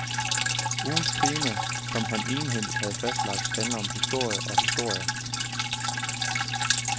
Ugens tema, som han egenhændigt har fastlagt, handler om historie og historier.